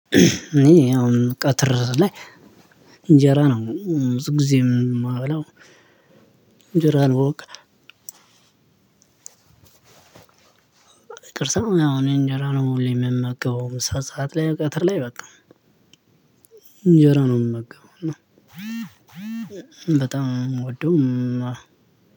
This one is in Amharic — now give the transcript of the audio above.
እኔ አሁን ቀትር ላይ እንጀራ ነው ብዙ ጊዜ የማበላው እንጀራ ነው። በቃ ቅርሳማ አሁን እንጀራ ነው ሁሌ የምመገበው ሰዓት ላይ ቀትር ላይ በቃ እንጀራ ነው የምመገበው። እና በጣም ነው የምወደው።